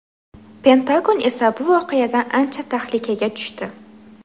Pentagon esa bu voqeadan ancha tahlikaga tushdi.